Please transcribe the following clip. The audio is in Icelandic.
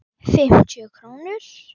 Fimmtíu krónur?